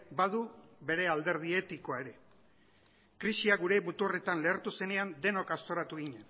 badu bere alderdi etikoa ere krisia gure muturretan lehertu zenean denok aztoratu ginen